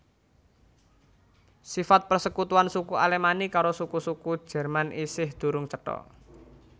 Sifat persekutuan suku Alemanni karo suku suku Jerman isih durung cetha